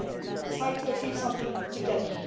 We tried to achieve something together.